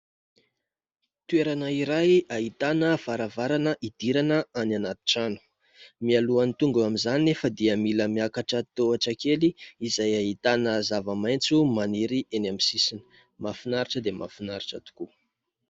Toerana iray ahitana varavarana idirana any anaty trano, mialohan'ny tonga amin'izany nefa dia mila miakatra tohatra kely izay ahitana zava-maitso maniry eny amin'ny sisiny. Mahafinaritra dia mahafinaritra tokoa.